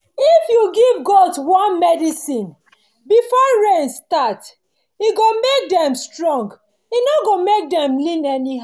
if you give goat worm medicine before rain start e go make dem strong e no go make dem dey lean anyhow